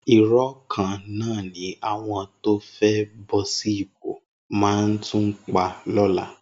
Irọ́ kan náà ni àwọn tó fẹ́ bọ́ sí ipò máa tún pa lọ́la.